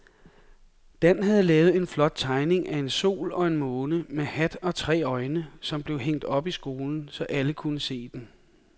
Dan havde lavet en flot tegning af en sol og en måne med hat og tre øjne, som blev hængt op i skolen, så alle kunne se den.